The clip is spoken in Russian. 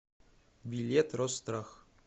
билет росстрах